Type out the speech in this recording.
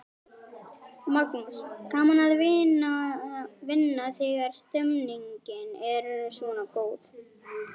Magnús: Gaman að vinna þegar stemningin er svona góð?